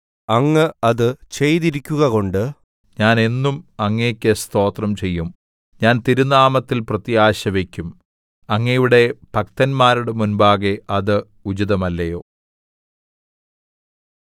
അങ്ങ് അത് ചെയ്തിരിക്കുകകൊണ്ട് ഞാൻ എന്നും അങ്ങേക്ക് സ്തോത്രം ചെയ്യും ഞാൻ തിരുനാമത്തിൽ പ്രത്യാശവക്കും അങ്ങയുടെ ഭക്തന്മാരുടെ മുമ്പാകെ അത് ഉചിതമല്ലയോ